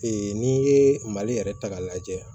n'i ye mali yɛrɛ ta k'a lajɛ